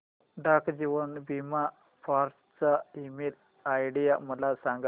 डाक जीवन बीमा फोर्ट चा ईमेल आयडी मला सांग